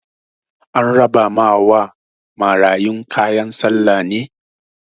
An rabawa marayun kayan sallah ne?